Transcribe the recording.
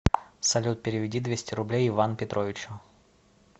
салют переведи двести рублей иван петровичу